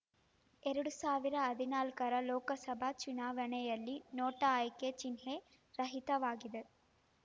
ಎರಡು ಸಾವಿರದ ಹದಿನಾಲ್ಕರ ಲೋಕಸಭೆ ಚುನಾವಣೆಯಲ್ಲಿ ನೋಟಾ ಆಯ್ಕೆ ಚಿಹ್ನೆ ರಹಿತವಾಗಿತ್ತು